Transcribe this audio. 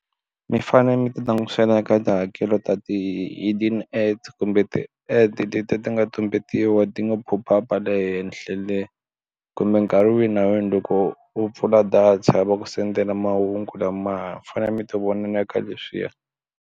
Mi fanele mi ti langutisela eka tihakelo ta ti hidden kumbe ti letiya ti nga tumbetiwa ti nga pop up le henhla le kumbe nkarhi wihi na wihi loko u pfula data va ku sendela mahungu lamaya mi fanele mi ti vonela ka leswiya.